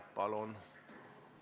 Palun!